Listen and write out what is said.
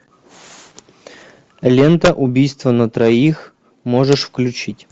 лента убийство на троих можешь включить